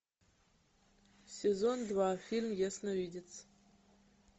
сезон два фильм ясновидец